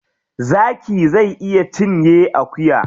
Zaki zai iya cinye akuya.